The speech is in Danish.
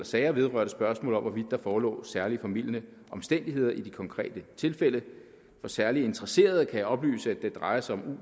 sager vedrørte spørgsmål om hvorvidt der forelå særlig formildende omstændigheder i de konkrete tilfælde for særlig interesserede kan jeg oplyse at det drejer sig om